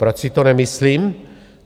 Proč si to nemyslím?